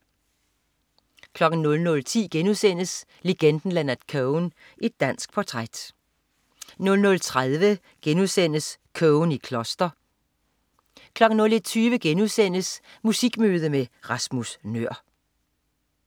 00.10 Legenden Leonard Cohen, et dansk portræt* 00.30 Cohen i kloster* 01.20 Musikmøde med Rasmus Nøhr*